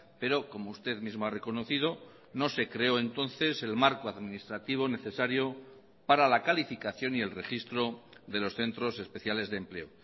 pero como usted misma ha reconocido no se creó entonces el marco administrativo necesario para la calificación y el registro de los centros especiales de empleo